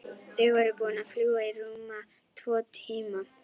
Þau voru búin að fljúga í rúma tvo tíma.